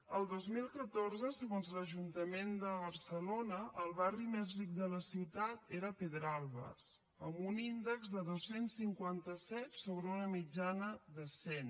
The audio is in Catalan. el dos mil catorze segons l’ajuntament de barcelona el barri més ric de la ciutat era pedralbes amb un índex de dos cents i cinquanta set sobre una mitjana de cent